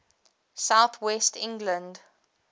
south west england